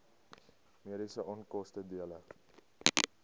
mediese onkoste dele